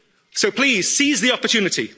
win. So please, seize the opportunity.